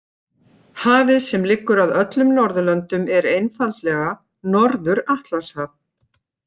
Hafið sem liggur að öllum Norðurlöndum er einfaldlega Norður- Atlantshaf.